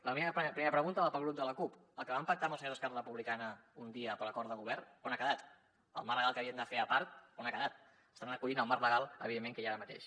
la meva primera pregunta va per al grup de la cup el que van pactar amb els senyors d’esquerra republicana un dia per acord de govern on ha quedat el marc legal que havien de fer a part on ha que·dat s’estan acollint al marc legal evidentment que hi ha ara mateix